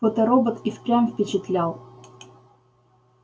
фоторобот и впрямь впечатлял